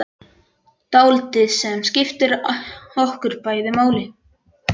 Dáldið sem skiptir okkur bæði máli.